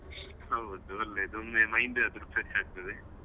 ಹೌದು ಒಳ್ಳೇದು ಒಮ್ಮೆ mind ಆದ್ರೂ fresh ಆಗ್ತದೆ.